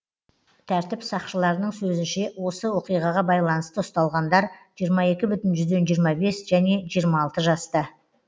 тәртіп сақшыларының сөзінше осы оқиғаға байланысты ұсталғандар жиырма екі бүтін жүзден жиырма бес және жиырма алты жаста